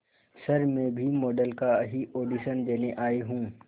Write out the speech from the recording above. sir मैं भी model का ही ऑडिशन देने आई हूं